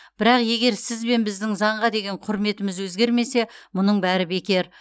бірақ егер сіз бен біздің заңға деген құрметіміз өзгермесе мұның бәрі бекер